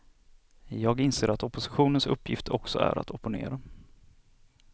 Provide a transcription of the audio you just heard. Jag inser att oppositionens uppgift också är att opponera.